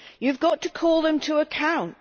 You have got to call them to account.